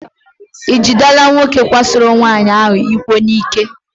E jidela nwoke kwasoro nwaanyị ahụ iko n'ike.